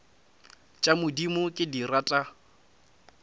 tša modimo ke di rata